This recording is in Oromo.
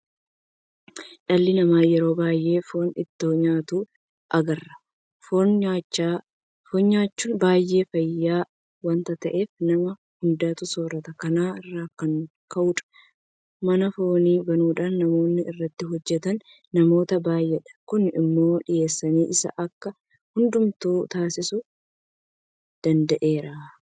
Dhalli namaa yeroo baay'ee foon itoo nyaatuu agarra. Foon nyaachuun baay'ee fayyada waanta ta'eef nama hudduutu soorrata. Kana irraa ka'uudhaan mana foonii banuudhaan namoonni irratti hojjetan namoota baay'eedha. Kun immoo dhiyeessiin isaa akka heddummatu taasisuu danda'eera.